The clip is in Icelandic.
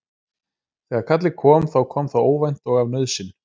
Þegar kallið kom þá kom það óvænt og af nauðsyn.